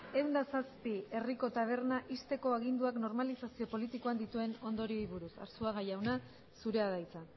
ehun eta zazpi herriko taberna ixteko aginduak normalizazio politikoan dituen ondorioei buruz arzuaga jauna zurea da hitza